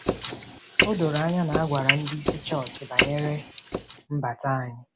O doro anya na a gwara ndị isi chọọchị banyere mbata anyị.